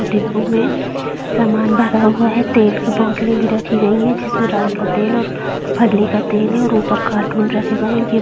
डिब्बों में समान भरा हुआ है तेल की बोटले भी रखी गई है जिसमें राई का तेल और फल्ली का तेल है और ऊपर कार्टून रखे गए है ये--